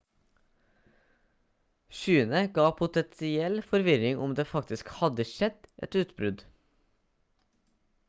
skyene gav potensiell forvirring om det faktisk hadde skjedd et utbrudd